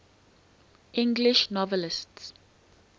english novelists